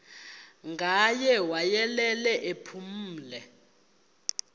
ngaye wayelele ephumle